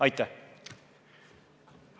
Aitäh!